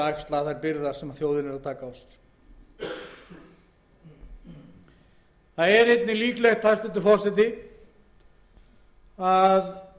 að axla þær byrðar sem þjóðin tekur nú á sig það er einnig líklegt að